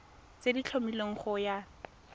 tse di tlhomilweng go ya